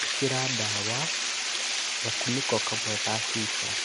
ĩkĩra ndawa gakũnĩko kamwe ka cuba